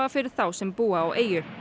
fyrir þá sem búa á eyju